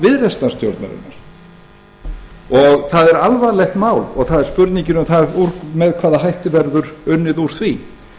viðreisnarstjórnarinnar það er alvarlegt mál og það er spurningin um það með hvaða hætti verður unnið úr því